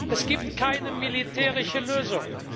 Es gibt keine militärische Lösung!